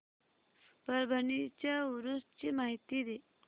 परभणी च्या उरूस ची माहिती दे